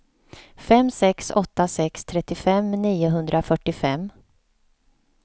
fem sex åtta sex trettiofem niohundrafyrtiofem